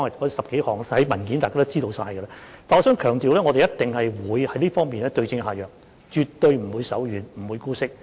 我想強調一點，我們一定會在這方面對症下藥，絕對不會手軟，也不會姑息。